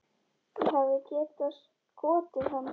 Ég hefði getað skotið hann.